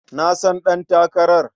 Na san ɗantakarar.